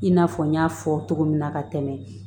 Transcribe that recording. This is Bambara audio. I n'a fɔ n y'a fɔ cogo min na ka tɛmɛ